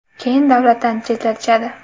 Keyin davlatdan chetlatishadi.